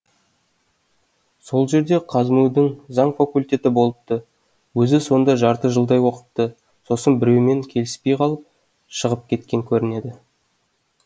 сол жерде қазму дің заң факультеті болыпты өзі сонда жарты жылдай оқыпты сосын біреумен келіспей қалып шығып кеткен көрінеді